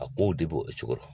A ko de b'o cogo la.